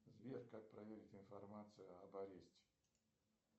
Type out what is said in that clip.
сбер как проверить информацию об аресте